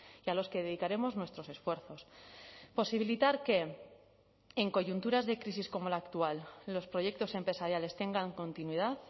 y a los que dedicaremos nuestros esfuerzos posibilitar que en coyunturas de crisis como la actual los proyectos empresariales tengan continuidad